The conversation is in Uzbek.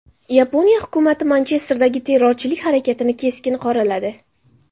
Yaponiya hukumati Manchesterdagi terrorchilik harakatini keskin qoraladi.